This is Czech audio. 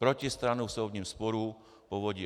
Protistranu v soudním sporu v Povodí